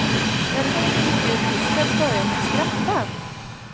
När hon gick ut ur hissen började hon skratta.